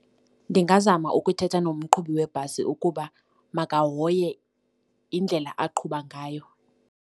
Ndingazama ukuthetha nomqhubi webhasi ukuba makahoye indlela aqhuba ngayo.